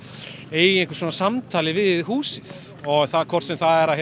eiga eitthvað svona samtal við húsið og hvort sem það